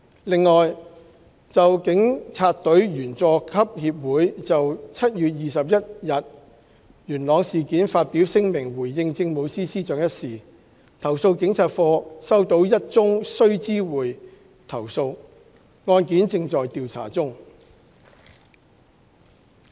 另外，就警察隊員佐級協會就7月21日元朗事件發表聲明回應政務司司長一事，投訴警察課收到1宗須知會投訴，案件正在調查中。